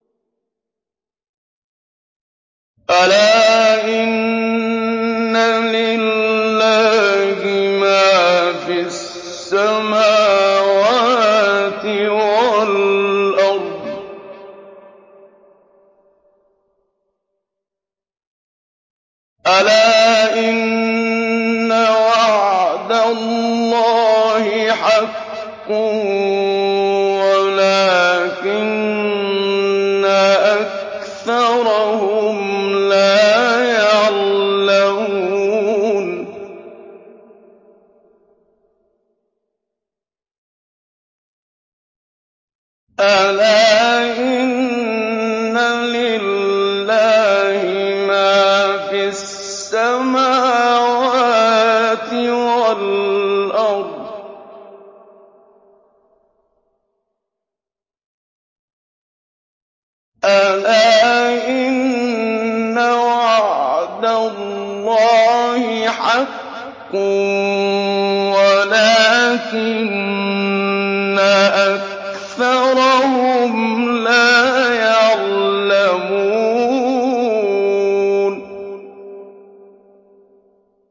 أَلَا إِنَّ لِلَّهِ مَا فِي السَّمَاوَاتِ وَالْأَرْضِ ۗ أَلَا إِنَّ وَعْدَ اللَّهِ حَقٌّ وَلَٰكِنَّ أَكْثَرَهُمْ لَا يَعْلَمُونَ